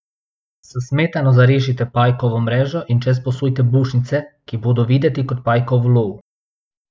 S smetano zarišite pajkovo mrežo in čez posujte bučnice, ki bodo videti kot pajkov ulov.